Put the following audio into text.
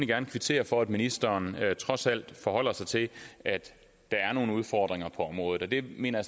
gerne kvittere for at ministeren trods alt forholder sig til at der er nogle udfordringer på området og det mener